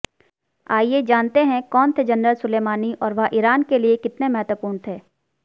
आइए जानते हैं कौन थे जनरल सुलेमानी और वह ईरान के लिए कितने महत्वपूर्ण थे